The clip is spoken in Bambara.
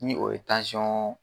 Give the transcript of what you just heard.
Ni o ye tansiyɔn